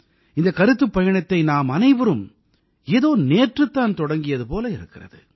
இந்தக் கருத்துப் பயணத்தை நாமனைவரும் ஏதோ நேற்றுத்தான் தொடங்கியது போல இருக்கிறது